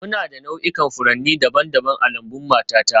Muna da nau'ikan furanni daban-daban a lambun matata